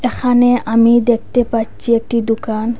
এখানে আমি দেখতে পাচ্ছি একটি দুকান।